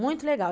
Muito legal.